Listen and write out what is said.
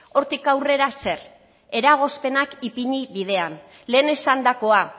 hortik aurrera zer eragozpenak ipini bidean lehen esandakoa